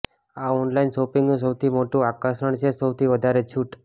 આ ઓનલાઇન શોપિંગનું સૌથી મોટું આકર્ષણ છે સૌથી વધારે છૂટ